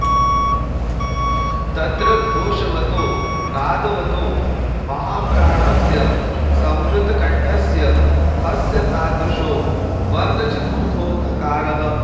तत्र घोषवतो नादवतो महाप्राणस्य संवृतकण्ठस्य हस्य तादृशो वर्गचतुर्थो घकारः